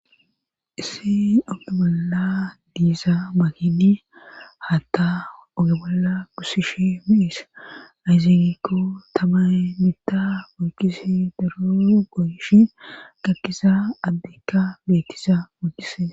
Issi oomala diisa makidi haatta ogamalla kusishe miis ayzeenekko tamay mitta bookise daro goyishi gakkisa addekka beettisa mookise